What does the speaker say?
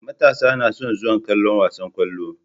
Matasa nason zuwa kallon wasan kwallo